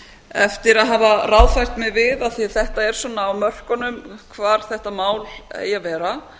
eftir að hafa ráðfært mig við af því þetta er svona á mörkunum hvar þetta mál eigi að vera